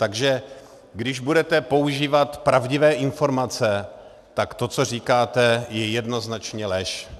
Takže když budete používat pravdivé informace, tak to, co říkáte, je jednoznačně lež.